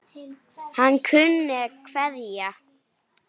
Hann kunni að kveðja.